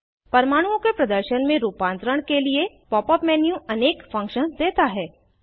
परमाणुओं के प्रदर्शन में रूपांतरण के लिए pop यूपी मेन्यू अनेक फंक्शन्स देता है